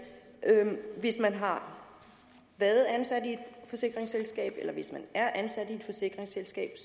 hvis man har været ansat i et forsikringsselskab eller hvis man er ansat i et forsikringsselskab